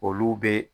Olu bɛ